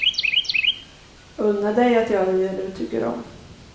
Unna dig att göra det du tycker om.